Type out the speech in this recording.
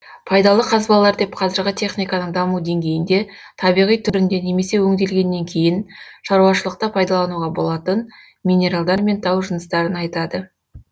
пайдалы қазбалар деп қазіргі техниканың даму деңгейінде табиғи түрінде немесе өңделгеннен кейін шаруашылықта пайдалануға болатын минералдар мен тау жыныстарын айтады